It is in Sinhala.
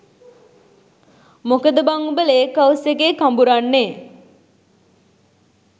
මොකද බං උඹ ලේක් හවුස් එකේ කඹුරන්නෙ?